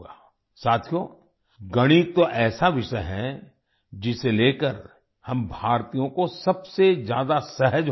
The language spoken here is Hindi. साथियो गणित तो ऐसा विषय है जिसे लेकर हम भारतीयों को सबसे ज्यादा सहज होना चाहिए